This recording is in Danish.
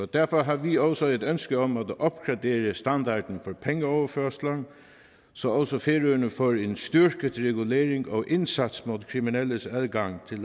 derfor har vi også et ønske om at opgradere standarden for pengeoverførsler så også færøerne får en styrket regulering og indsats mod kriminelles adgang til